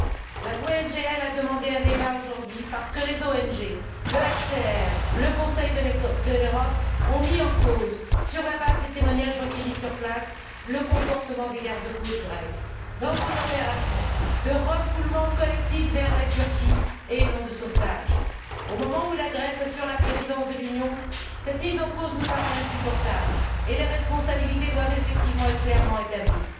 Mon groupe a demandé un débat aujourd'hui, parce que les ONG, le HCR, le Conseil de l'Europe ont mis en cause, sur la base des témoignages recueillis sur place, le comportement des garde côtes grecs dans une opération de refoulement collectif vers la Turquie et non de sauvetage. Au moment où la Grèce assure la présidence de l'Union, cette mise en cause nous paraît insupportable et les responsabilités doivent effectivement être clairement établies.